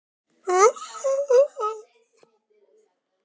Og hvað fá hlustendur að heyra á morgun?